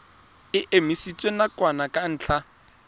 e emisitswe nakwana ka ntlha